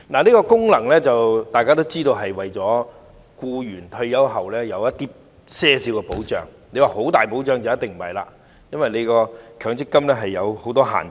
大家也知道，強積金制度的功能是為僱員退休後提供一些保障，如果要說是很大的保障，就一定不是，因為強積金制度有很多限制。